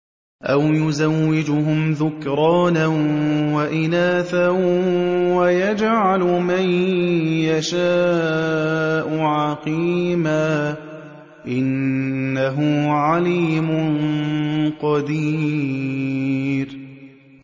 أَوْ يُزَوِّجُهُمْ ذُكْرَانًا وَإِنَاثًا ۖ وَيَجْعَلُ مَن يَشَاءُ عَقِيمًا ۚ إِنَّهُ عَلِيمٌ قَدِيرٌ